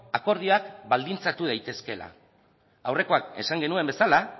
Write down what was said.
akordioak baldintzatu daitezkeela aurrekoan esan genuen bezala